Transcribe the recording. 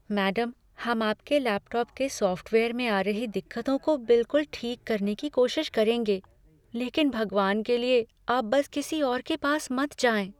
Madam, हम आपके laptop के सॉफ़्टवेयर में आ रही दिक्कतों को बिलकुल ठीक करने की कोशिश करेंगे, लेकिन भगवान के लिए, आप बस किसी और के पास मत जाएँ।